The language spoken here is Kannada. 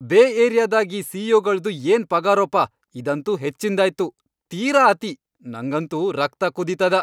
ಬೇ ಏರಿಯಾದಾಗ್ ಈ ಸಿ.ಇ.ಓ.ಗಳ್ದು ಏನ್ ಪಗಾರೋಪಾ ಇದಂತೂ ಹೆಚ್ಚಿನ್ದಾಯ್ತು, ತೀರಾ ಅತಿ.. ನಂಗಂತೂ ರಕ್ತ ಕುದೀತದ.